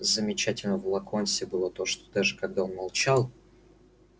замечательным в локонсе было то что даже когда он молчал